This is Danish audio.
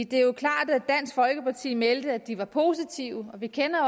det er jo klart at dansk folkeparti meldte at de var positive vi kender